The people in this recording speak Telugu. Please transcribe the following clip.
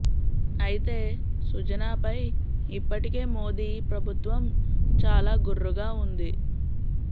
అయితే సుజనా పై ఇప్పటికే మోదీ ప్రభుత్వం చాలా గుర్రుగా ఉంది